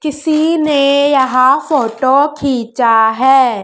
किसी ने यहां फोटो खींचा हैं।